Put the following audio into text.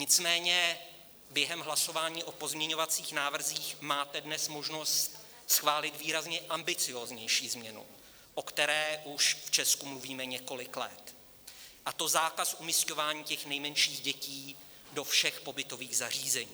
Nicméně během hlasování o pozměňovacích návrzích máte dnes možnost schválit výrazně ambicióznější změnu, o které už v Česku mluvíme několik let, a to zákaz umisťování těch nejmenších dětí do všech pobytových zařízení.